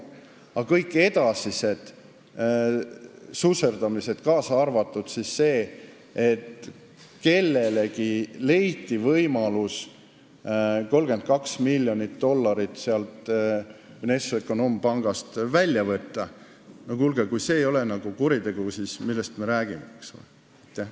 Aga kõik edasised susserdamised, kaasa arvatud see, et kellelegi leiti võimalus 32 miljonit dollarit Vnešekonombankist välja võtta – no kuulge, kui see ei ole kuritegu, siis millest me räägime, eks ole!?